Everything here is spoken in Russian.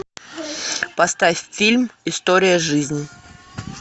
поставь фильм история жизни